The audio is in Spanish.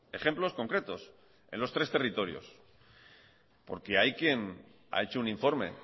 ejemplos concretos en los tres territorios porque hay quien ha hecho un informe